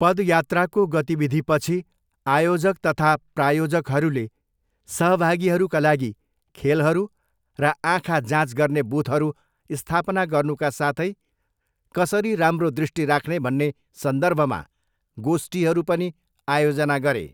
पदयात्राको गतिविधिपछि आयोजक तथा प्रायोजकहरूले सहभागीहरूका लागि खेलहरू र आँखा जाँच गर्ने बुथहरू स्थापना गर्नुका साथै कसरी राम्रो दृष्टि राख्ने भन्ने सन्दर्भमा गोष्ठीहरू पनि आयोजना गरे।